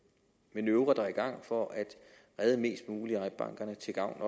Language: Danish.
manøvrer der er i gang for at redde mest muligt af eik bank også til gavn